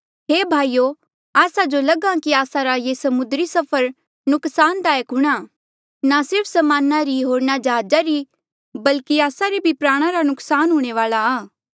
हे भाईयो आस्सा जो लग्हा कि आस्सा रा ये समुद्री सफर नुकसानदायक हूंणां ना सिर्फ समाना री होर जहाजा री बल्कि आस्सा रे प्राणा रा भी नुक्सान हूंणे वाल्आ आ